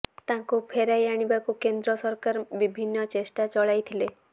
ତାଙ୍କୁ ଫେରାଇ ଆଣିବାକୁ କେନ୍ଦ୍ର ସରକାର ବିଭିନ୍ନ ଚେଷ୍ଟା ଚଳାଇଥିଲେ